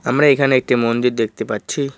আমরা এখানে একটি মন্দির দেখতে পাচ্ছি।